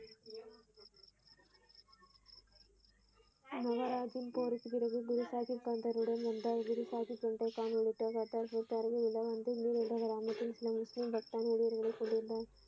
முகராஜன் போருக்குப் பிறகு குருசாகிப் கந்தருடன் வந்தார் குருசாகிப் ஒன்றை காணொளித்தார முஸ்லிம் பக்தன் உயிர்களைக் கொண்டிருந்தான்.